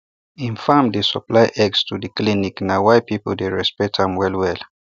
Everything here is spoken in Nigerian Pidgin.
him farm dey supply eggs to the clinic na why people dey respect am well well